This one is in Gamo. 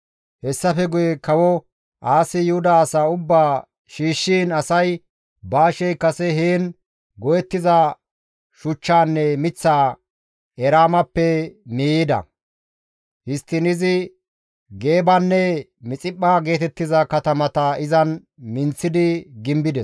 Hessafe guye kawo Aasi Yuhuda asaa ubbaa shiishshiin asay Baashey kase heen go7ettiza shuchchaanne miththaa Eraamappe miiyides. Histtiin izi Geebanne Mixiphpha geetettiza katamata izan minththidi gimbides.